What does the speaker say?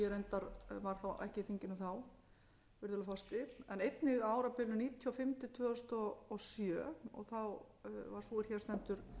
reyndar var ekki á þinginu á þeim tíma virðulegur forseti en einnig á árabilinu nítján hundruð níutíu og fimm til tvö þúsund og sjö var sú er hér stendur